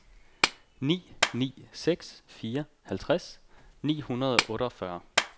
ni ni seks fire halvtreds ni hundrede og otteogfyrre